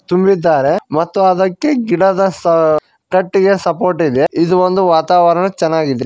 ತುಂಬಿದ್ದಾರೆ ಮತ್ತು ಅದಕ್ಕೆ ಗಿಡದ ಸ ಕಟ್ಟಿಗೆಯ ಸಪೋರ್ಟ್ ಇದೆ ಇದು ಒಂದು ವಾತಾವರಣ ಚೆನ್ನಾಗಿದೆ.